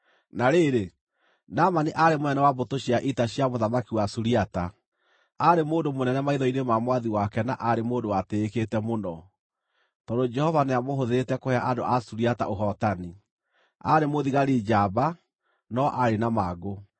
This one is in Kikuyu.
Na rĩrĩ, Naamani aarĩ mũnene wa mbũtũ cia ita cia mũthamaki wa Suriata. Aarĩ mũndũ mũnene maitho-inĩ ma mwathi wake na aarĩ mũndũ watĩĩkĩte mũno, tondũ Jehova nĩamũhũthĩrĩte kũhe andũ a Suriata ũhootani. Aarĩ mũthigari njamba, no aarĩ na mangũ.